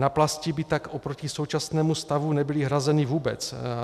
Náplasti by tak oproti současnému stavu nebyly hrazeny vůbec.